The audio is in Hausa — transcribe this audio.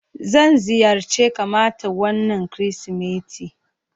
Zan ziyarce kamata wana kirisimeti.